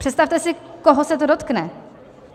Představte si, koho se to dotkne.